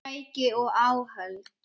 Tæki og áhöld